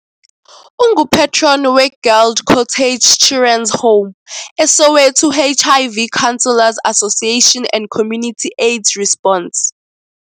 Ungu-patron we-Guild Cottage Children's Home, eSoweto HIV Counselor's Association and Community AIDS Response.